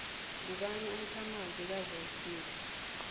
ngubani umkhamanzi kawillsmith